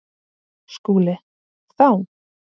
SKÚLI: Þá?